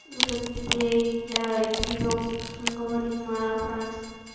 вот это типа я я перевёл то что наговорил на украинском